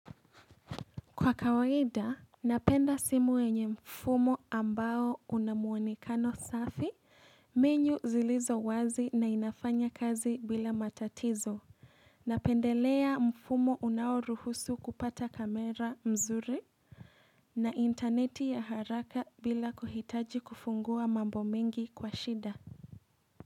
Kwa kawaida, napenda simu yenye mfumo ambao unamuonekano safi, menu zilizo wazi na inafanya kazi bila matatizo. Napendelea mfumo unao ruhusu kupata kamera mzuri na interneti ya haraka bila kuhitaji kufungua mambo mingi kwa shida.